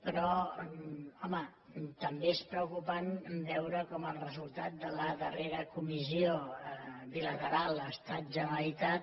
però home també és preocupant veure com el resultat de la darrera comissió bilateral estatgeneralitat